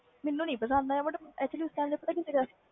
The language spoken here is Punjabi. ਮੈਨੂੰ ਨਹੀਂ ਪਸੰਦ ਆਇਆ